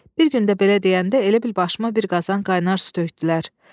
Bir gün də belə deyəndə elə bil başıma bir qazan qaynar su tökdülər.